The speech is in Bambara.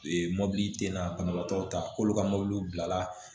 mɔbili te na banabaatɔ ta k'olu ka mobiliw bila